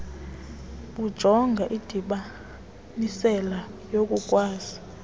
bujonga indibanisela yokukwazi